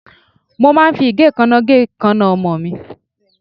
Mo máa ń fi igekana gé ikanna ọmọ mi.